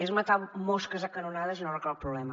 és matar mosques a canonades i no arregla el problema